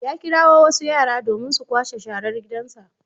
Ya kirawo wasu yara domin su kwashe sharar gidansa.